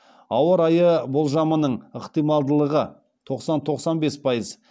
ауа райы болжамының ықтималдылығы тоқсан тоқсан бес пайыз